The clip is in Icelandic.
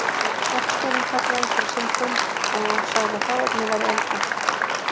Verkstjórinn kallaði ykkur á sinn fund og sagði að hráefnið væri eldfimt